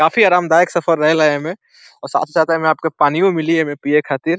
काफी आराम दायक सफर रहेला एमें और साथ ही साथ एमें पानीयो मिली एमें पिए खातिर।